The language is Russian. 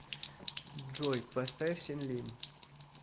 джой поставь сенлим